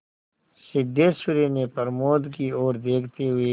सिद्धेश्वरी ने प्रमोद की ओर देखते हुए